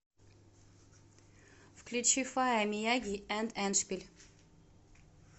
включи фая мияги энд эндшпиль